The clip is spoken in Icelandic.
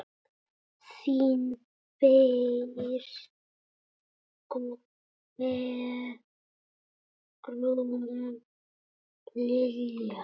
Þín Bergrún Lilja.